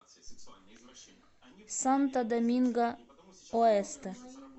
санто доминго оэсте